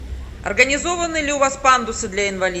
организованы ли у вас пандусы для инвалидов